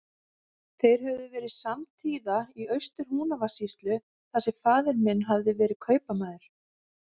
Þeir höfðu verið samtíða í Austur-Húnavatnssýslu, þar sem faðir minn hafði verið kaupamaður.